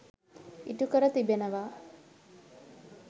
ඉටු කර තිබෙනවා.